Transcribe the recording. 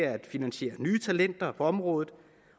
at finansiere nye talenter på området